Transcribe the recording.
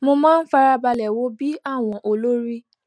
mo máa ń farabalẹ wo bí àwọn olórí